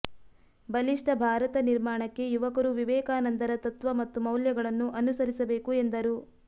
ಬಲಿಷ್ಠ ಭಾರತ ನಿರ್ಮಾಣಕ್ಕೆ ಯುವಕರು ವಿವೇಕಾನಂದರ ತತ್ವ ಮತ್ತು ಮೌಲ್ಯಗಳನ್ನು ಅನುಸರಿಸಬೇಕು ಎಂದರು